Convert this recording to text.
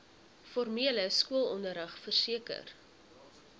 formele skoolonderrig verseker